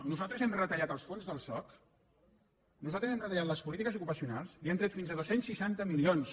nosaltres hem retallat els fons del soc nosaltres hem retallat les polítiques ocupacionals i hem tret fins a dos cents i seixanta milions